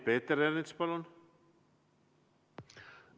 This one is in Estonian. Peeter Ernits, palun!